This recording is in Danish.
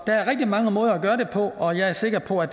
er rigtig mange måder at gøre det på og jeg er sikker på at